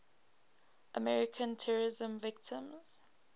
american terrorism victims